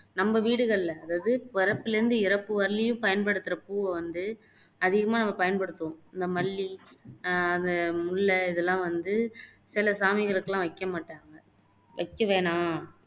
நம்ம வீடுகளில அதாவது புறப்புல இருந்து இறப்பு வரையலயும் பயன்படுத்துற பூவை வந்து அதிகமா நம்ம பயன்படுத்துவோம் இந்த மல்லி, ஆஹ் அது முல்லை இதெல்லாம் வந்து சில சாமிகளுக்கெல்லாம் வைக்க மாட்டாங்க வைக்க வேணாம்